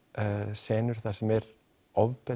senur sem er ofbeldi